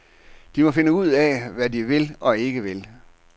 De må finde ud af, hvad de vil og ikke vil.